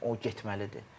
O getməlidir.